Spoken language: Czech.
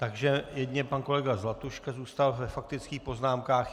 Takže jedině pan kolega Zlatuška zůstal ve faktických poznámkách.